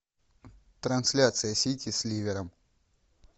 трансляция сити с ливером